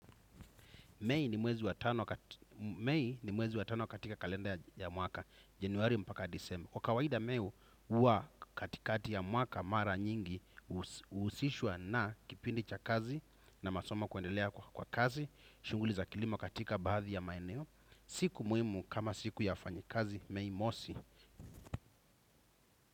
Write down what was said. Mei ni mwezi wa tano katika kalenda ya mwaka. Januari mpaka disemba. Kwa kawaida meo uwa katikati ya mwaka mara nyingi uhusishwa na kipindi cha kazi na masomo kuendelea kwa kazi. Shunguli za kilimo katika baadhi ya maeneo. Siku muhimu kama siku ya wafanyikazi mei mosi.